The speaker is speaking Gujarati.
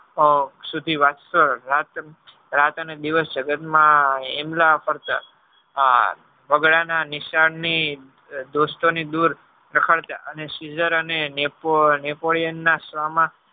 શુદ્ધિ વાતો રાત અને દિવસ જગત માં એના બગલા ના નિશાન ની દ્રુસ્તો ની દૂર અને cizor અને napoleon